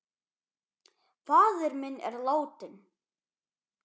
Faðir minn er látinn.